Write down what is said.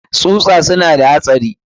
tsusa suna da haɗari.